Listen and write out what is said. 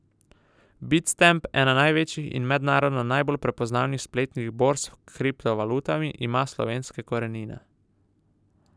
Bitstamp, ena največjih in mednarodno najbolj prepoznavnih spletnih borz s kriptovalutami, ima slovenske korenine.